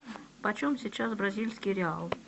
почем сейчас бразильский реал